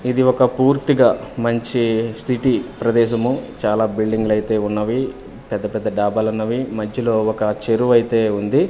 ఇది ఒక పూర్తిగా మంచి సిటీ ప్రదేశము చాలా బిల్డింగులైతే ఉన్నవి పెద్ద పెద్ద డాబాలున్నవి మధ్యలో ఒక చెరువు అయితే ఉంది.